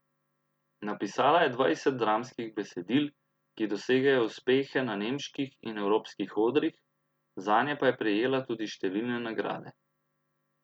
Napisala je dvajset dramskih besedil, ki dosegajo uspehe na nemških in evropskih odrih, zanje pa je prejela tudi številne nagrade.